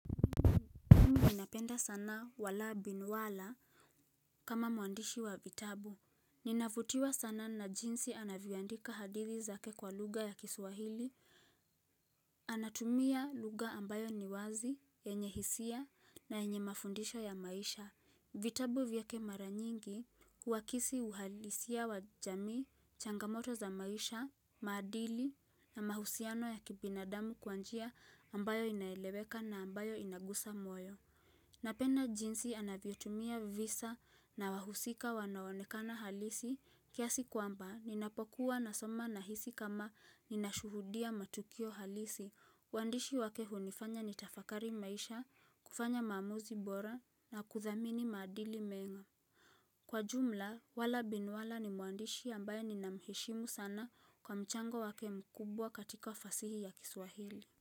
Ninapenda sana wala bin wala kama mwandishi wa vitabu. Ninavutiwa sana na jinsi anavyoandika hadithi zake kwa lugha ya kiswahili. Anatumia lugha ambayo ni wazi, enye hisia na enye mafundisho ya maisha. Vitabu vyake mara nyingi huakisi uhalisia wa jamii, changamoto za maisha, maadili na mahusiano ya kibinadamu kwa njia ambayo inaeleweka na ambayo inagusa moyo. Napenda jinsi anavyotumia visa na wahusika wanaoonekana halisi kiasi kwamba ninapokuwa nasoma nahisi kama ninashuhudia matukio halisi. Waandishi wake hunifanya nitafakari maisha, kufanya maamuzi bora na kuthamini maadili mema. Kwa jumla, wala bin wala ni mwandishi ambaye ninamheshimu sana kwa mchango wake mkubwa katika fasihi ya kiswahili.